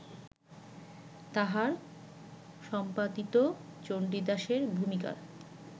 তাঁহার সম্পাদিত চণ্ডীদাসের ভূমিকার